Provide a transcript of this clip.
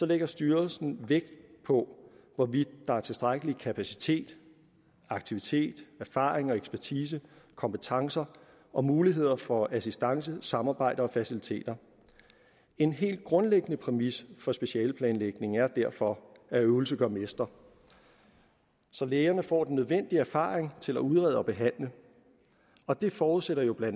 lægger styrelsen vægt på hvorvidt der er tilstrækkelig kapacitet aktivitet erfaring og ekspertise kompetencer og muligheder for assistance samarbejde og faciliteter en helt grundlæggende præmis for specialeplanlægningen er derfor at øvelse gør mester så lægerne får den nødvendige erfaring til at udrede og behandle og det forudsætter jo bla at